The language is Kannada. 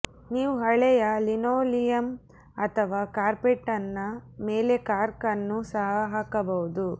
ನೀವು ಹಳೆಯ ಲಿನೋಲಿಯಮ್ ಅಥವಾ ಕಾರ್ಪೆಟ್ನ ಮೇಲೆ ಕಾರ್ಕ್ ಅನ್ನು ಸಹ ಹಾಕಬಹುದು